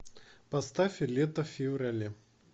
поставь лето в феврале